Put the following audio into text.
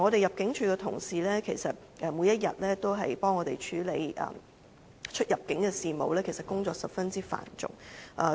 入境處的同事每天為我們處理出入境事務，工作十分繁重。